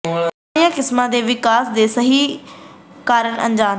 ਪੁਰਾਣੀਆਂ ਕਿਸਮਾਂ ਦੇ ਵਿਕਾਸ ਦੇ ਸਹੀ ਕਾਰਨ ਅਣਜਾਣ ਹਨ